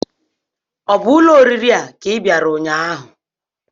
Ọ bụ ụlọ oriri a ka ị bịara ụnyaahụ?